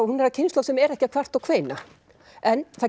hún er af kynslóð sem er ekki að kvarta og kveina en það